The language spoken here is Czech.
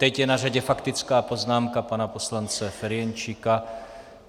Teď je na řadě faktická poznámka pana poslance Ferjenčíka.